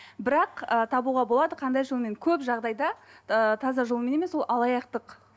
бірақ ы табуға болады қандай жолмен көп жағдайда ыыы таза жолмен емес ол алаяқтық